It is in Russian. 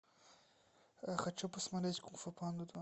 хочу посмотреть кунг фу панда два